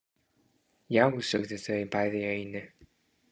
Já, sögðu þau bæði í einu.